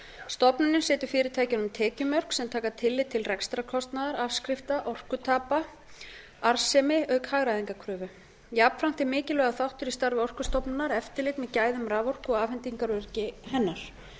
stofnunin setur fyrirtækjunum tekjumörk sem taka tillit til rekstrarkostnaðar afskrifta orkutapa arðsemi auk hagræðingarkröfu jafnframt er mikilvægur þáttur í starfi orkustofnunar eftirlit með gæðum raforku og afhendingaröryggi hennar